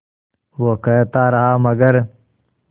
वो कहता रहा मगर